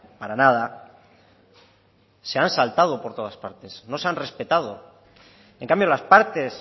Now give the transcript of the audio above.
para nada se han saltado por todas partes no se han respetado en cambio las partes